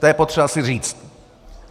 To je potřeba si říct.